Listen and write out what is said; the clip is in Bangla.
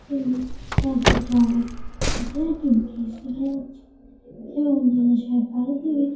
এবং কল্পি টাওয়ার এখানে একটি ব্রীজ দেখা যাচ্ছেএবং জলাশয়ের পারিদিকে--